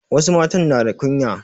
Wasu matan na da kunya.